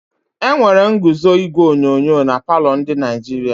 Enwere ñguzo igwe onyonyo na palọ ndi Naịjirịa.